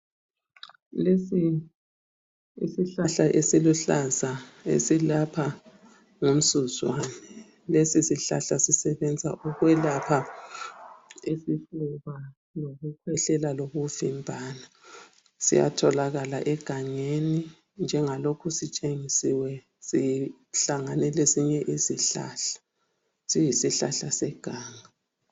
Lesi isihlahla esiluhlaza esilapha ngumsuzwane lesisihlahla sisebenza ukwelapha isifuba , lokukhwehlela lokuvimbana siyatholakala egangeni njengalokhu sitshengisiwe sihlangane lesinye isihlahla seganga